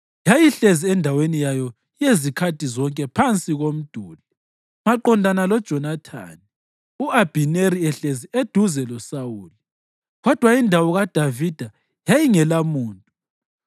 Yayihlezi endaweni yayo yezikhathi zonke phansi komduli, maqondana loJonathani, u-Abhineri ehlezi eduze loSawuli, kodwa indawo kaDavida yayingelamuntu.